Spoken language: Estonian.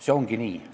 See ongi nii.